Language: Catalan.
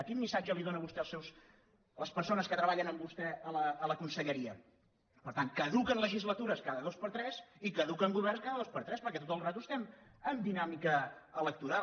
quin missatge li dóna vostè a les persones que treballen amb vostè a la conselleria per tant caduquen legislatures cada dos per tres i caduquen governs cada dos per tres perquè tota l’estona estem en dinàmica electoral